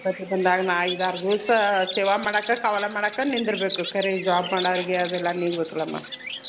ಗಣ್ಪತಿ ಬಂದಾಗ್ ನಾ ಐದಾರ್ ದೀವ್ಸ್ ಸೇವಾ ಮಾಡಾಕ ಕಾವ್ಲಾ ಮಾಡಕ ನಿಂದರ್ಬೇಕೂ ಕರೀ ಈ job ಮಾಡೋರ್ಗೆ ಅದೆಲ್ಲ ನೀಗ್ಬೇಕಲಮ್ಮ.